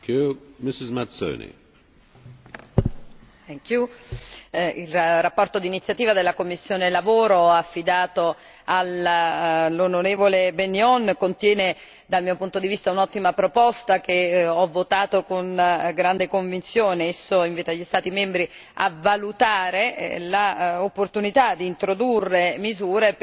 Signor Presidente, la relazione d'iniziativa della commissione lavoro affidato all'onorevole Bennion contiene, dal mio punto di vista, un'ottima proposta che ho votato con grande convinzione. Essa invita gli Stati membri a valutare la opportunità di introdurre misure per